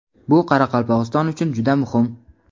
Bu Qoraqalpog‘iston uchun juda muhim.